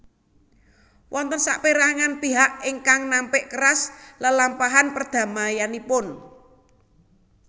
Wonten sapérangan pihak ingkang nampik keras lelampahan perdamaianipun